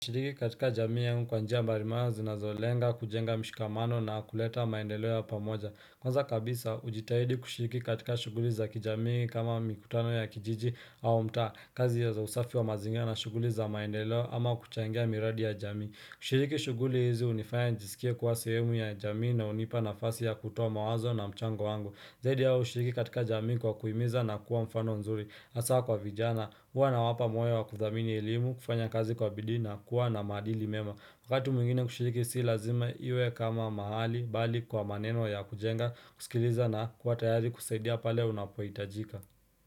Nashiriki katika jamii yangu kwa njia mbali mara zinazolenga kujenga mshikamano na kuleta maendeleo ya pamoja. Kwanza kabisa, hujitahidi kushiriki katika shughuli za kijamii kama mikutano ya kijiji, au mtaa. Kazi ya za usafi wa mazingira na shughuli za maendelo ama kuchangia miradi ya jamii. Kushiriki shughuli hizi hunifaya nijisikie kuwa sehemu ya jamii na hunipa nafasi ya kutoa mawazo na mchango wangu. Zaidi ya hayo hushiriki katika jamii kwa kuhimiza na kuwa mfano nzuri, hasa kwa vijana. Huwa nawapa moyo wa kuthamini elimu, kufanya kazi kwa bidii na, kuwa na maadili mema. Wakati mwingine kushiriki si lazima iwe kama mahali, bali kwa maneno ya kujenga, kusikiliza na kuwa tayari kusaidia pale unapohitajika.